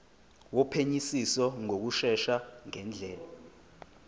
wophenyisiso ngokushesha ngendlela